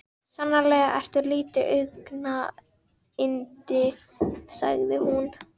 Sannarlega ertu lítið augnayndi sagði hún.